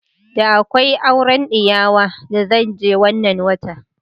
Da akwai aure diyawa da zan je wannan watan.